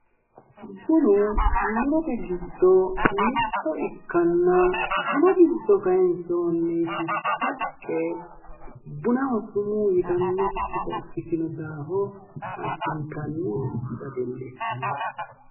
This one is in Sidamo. Bunu murote giddo mitto ikkanna, bunu giddo kayinsoonniti haqqe bunaho suumu yitannokkita ikkitino daafo addintanni dadillissanno.